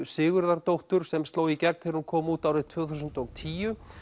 Sigurðardóttur sem sló í gegn þegar hún kom út árið tvö þúsund og tíu